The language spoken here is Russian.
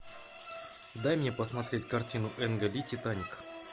дай мне посмотреть картину энга ли титаник